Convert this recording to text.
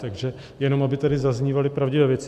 Takže jenom aby tady zaznívaly pravdivé věci.